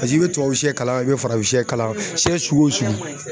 Paseke i bɛ tubabusiyɛ kalan i bɛ farafinsiyɛ kalan siyɛ sugu o sugu.